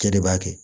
E de b'a kɛ